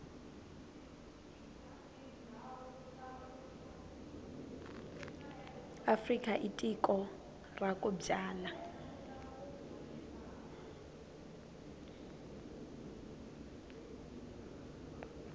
afrika i tiko ra ku byala